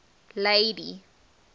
lady